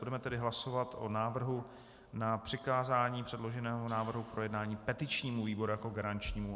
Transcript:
Budeme tedy hlasovat o návrhu na přikázání předloženého návrhu k projednání petičnímu výboru jako garančnímu.